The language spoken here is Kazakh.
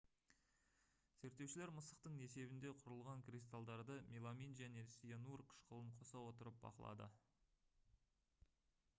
зерттеушілер мысықтың несебінде құрылған кристалдарды меламин және цианур қышқылын қоса отырып бақылады